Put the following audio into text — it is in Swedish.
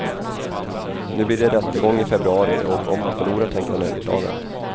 Nu blir det rättegång i februari och om han förlorar tänker han överklaga.